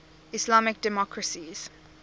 islamic democracies